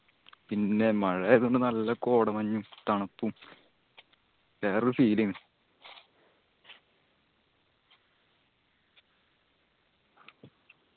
പിന്നെ മഴ ആയതോണ്ട് നല്ല കോടമഞ്ഞും തണുപ്പും വേറൊരു feel ആയിൻ